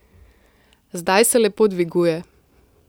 Zdaj se lepo dviguje.